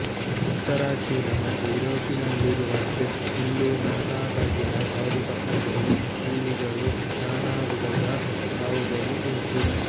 ಉತ್ತರ ಚೀನ ಮತ್ತು ಯೂರೋಪಿನಲ್ಲಿರುವಂತೆ ಇಲ್ಲೂ ನಾನಾ ಬಗೆಯ ಕಾಡುಕಪ್ಪೆಗಳೂ ಹಲ್ಲಿಗಳೂ ನಾನಾ ವಿಧದ ಹಾವುಗಳೂ ಉಂಟು